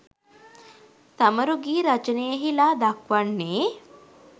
සමරු ගී රචනයෙහිලා දක්වන්නේ